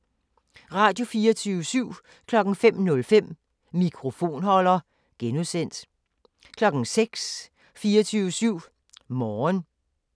Radio24syv